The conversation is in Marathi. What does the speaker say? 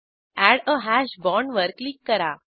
एड आ हॅश बॉण्ड वर क्लिक करा